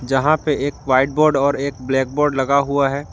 जहां पे एक व्हाइट बोर्ड और एक ब्लैक बोर्ड लगा हुआ है।